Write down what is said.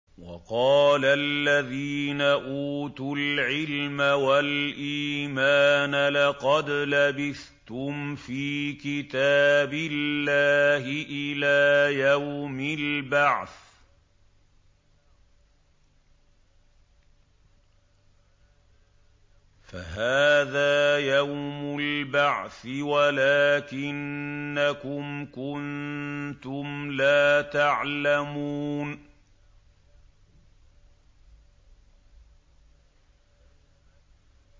وَقَالَ الَّذِينَ أُوتُوا الْعِلْمَ وَالْإِيمَانَ لَقَدْ لَبِثْتُمْ فِي كِتَابِ اللَّهِ إِلَىٰ يَوْمِ الْبَعْثِ ۖ فَهَٰذَا يَوْمُ الْبَعْثِ وَلَٰكِنَّكُمْ كُنتُمْ لَا تَعْلَمُونَ